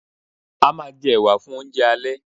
A máa jẹ ẹ̀wà (baked beans) fun oúnjẹ alẹ́